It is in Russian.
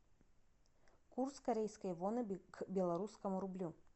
курс корейской воны к белорусскому рублю